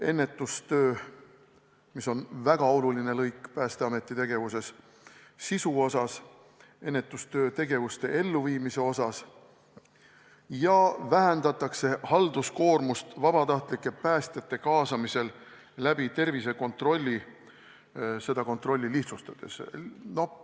Ennetustöö on väga oluline lõik Päästeameti tegevuses, sisu mõttes, ja sellega vähendatakse halduskoormust vabatahtlike päästjate kaasamisel läbi tervisekontrolli, seda kontrolli lihtsustades.